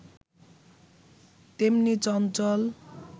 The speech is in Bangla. তেমনি চঞ্চল